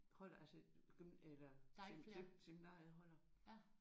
Holder altså eller seminariet holder